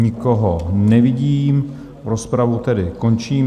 Nikoho nevidím, rozpravu tedy končím.